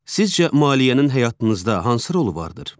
Sizcə, maliyyənin həyatınızda hansı rolu vardır?